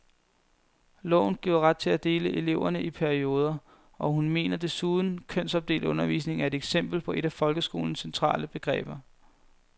Loven giver ret til at dele eleverne i perioder, og hun mener desuden, kønsopdelt undervisning er et eksempel på et af folkeskolelovens centrale begreber.